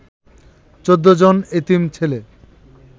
১৪ জন এতিম ছেলে